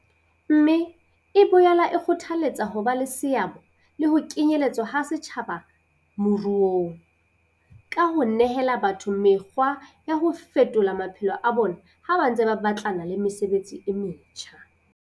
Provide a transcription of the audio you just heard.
Mme e boela e kgothaletsa ho ba le seabo le ho kenyeletswa ha setjhaba moruong, ka ho nehela batho mekgwa ya ho fetolo maphelo a bona ha ba ntse ba batlana le mesebetsi e metjha.